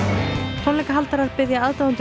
tónleikahaldarar biðja aðdáendur